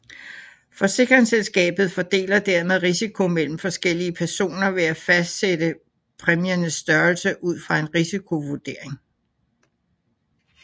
Forsikringsselskabet fordeler dermed risiko mellem forskellige personer ved at fastsætte præmiernes størrelse ud fra en risikovurdering